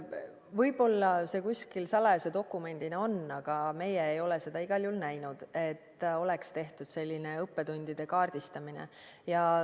Võib-olla see kuskil salajase dokumendina on olemas, aga meie ei ole igal juhul näinud, et oleks tehtud selline õppetundide kaardistamine.